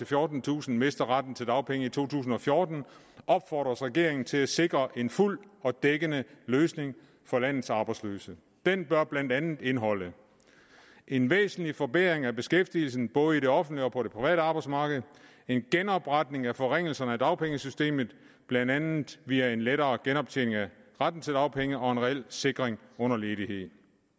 fjortentusind mister retten til dagpenge i to tusind og fjorten opfordres regeringen til at sikre en fuld og dækkende løsning for landets arbejdsløse den bør blandt andet indeholde en væsentlig forbedring af beskæftigelsen både i det offentlige og på det private arbejdsmarked en genopretning af forringelserne af dagpengesystemet blandt andet via en lettere genoptjening af retten til dagpenge og en reel sikring under ledighed